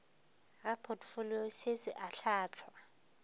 ga potfolio se se ahlaahlwa